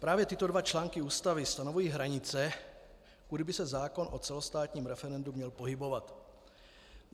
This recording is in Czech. Právě tyto dva články Ústavy stanovují hranice, kudy by se zákon o celostátním referendu měl pohybovat.